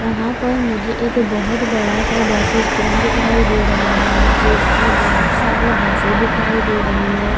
यहाँ पर मुझे एक बहुत बड़ा सा बस स्टैन्ड दिखाई दे रहा है जिसमे बहुत सारी बसे दिखाई दे रही है।